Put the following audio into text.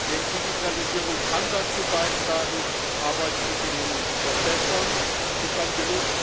Denn Digitalisierung kann dazu beitragen, Arbeitsbedingungen zu verbessern, sie kann z. B.